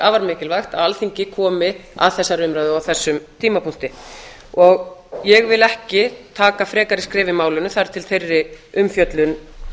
afar mikilvægt að alþingi komi að þessari umræðu á þessum tímapunkti ég vil ekki taka frekari skref í málinu þar til þeirri umfjöllun